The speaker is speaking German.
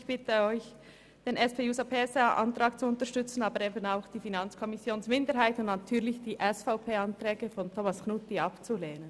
Ich bitte Sie, den SP-JUSO-PSAAntrag zu unterstützen, ebenso denjenigen der FiKo-Minderheit, und natürlich die SVP-Anträge abzulehnen.